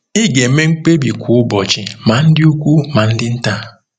Ị ga-eme mkpebi kwa ụbọchị, ma ndị ukwu ma ndị nta.